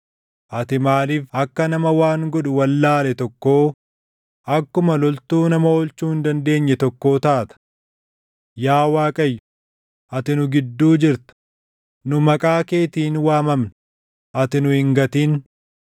Ati maaliif akka nama waan godhu wallaale tokkoo, akkuma loltuu nama oolchuu hin dandeenye tokkoo taata? Yaa Waaqayyo, ati nu gidduu jirta; nu maqaa keetiin waamamna; ati nu hin gatin.